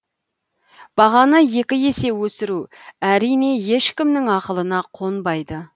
бағаны екі есе өсіру әрине ешкімнің ақылына қонбайды